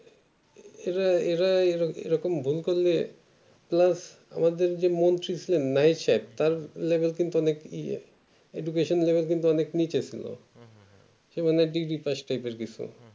এরা এরাই এই রকম বলতাম যে plus আমাদের তার level কিন্তু অনেক ইয়ে education level অনেক নিচে ছিল সে মানে degree তাই কিছু